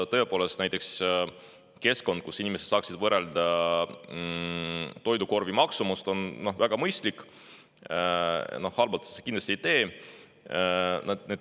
Tõepoolest, näiteks keskkond, kus inimesed saaksid võrrelda toidukorvi maksumust, oleks väga mõistlik, halba see kindlasti ei teeks.